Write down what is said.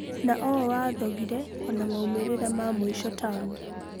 Na ũũ wathogire ona maumĩrĩra ma mũico tamu.